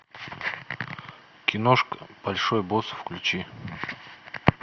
киношку большой босс включи